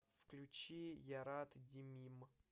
включи ярат димим